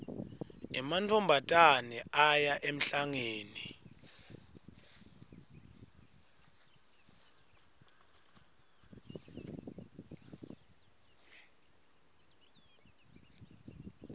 emantfombatane aya emhlangeni